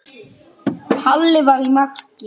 Halli var í marki.